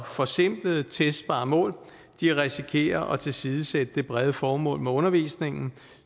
forsimplede testbare mål risikerer at tilsidesætte det brede formål med undervisningen